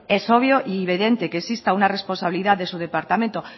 es obvio y evidente que exista una responsabilidad de su departamento